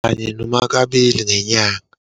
Kanye noma kabili ngenyanga.